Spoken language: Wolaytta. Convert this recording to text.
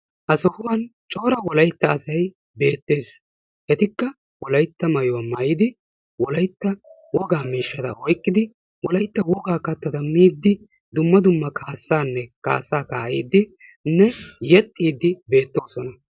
Azaban cora wolaytta asay beetees. etikka wolaytta maayuwa maayidi wolaytta wogaa miishshata oyqidi wolaytta wogaa katata miidi kaasaa kaa'idi yetaa texiidi beetoosona.